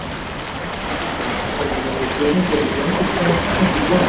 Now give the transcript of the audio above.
Vísindavefurinn hefur fengið nokkar spurningar um gengisskráningu íslensku krónunnar.